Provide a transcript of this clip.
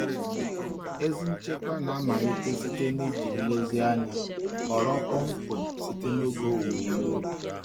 Ezi nchekwa na-amalite site na iji nlezianya họrọ kpọmkwem site n'oge owuwe ihe ubi.